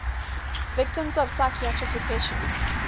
victims of psychiatric repression